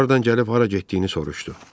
Hardan gəlib hara getdiyini soruşdu.